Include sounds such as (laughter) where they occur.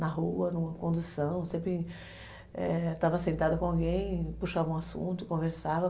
Na rua, numa condução, sempre (unintelligible) estava sentada com alguém, puxava um assunto, conversava.